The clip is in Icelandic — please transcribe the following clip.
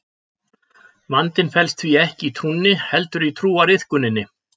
Vandinn felst því ekki í trúnni heldur í trúariðkuninni.